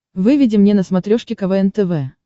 выведи мне на смотрешке квн тв